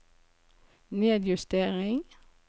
nedjustering